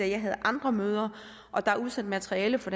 jeg havde andre møder og der er udsendt materiale fra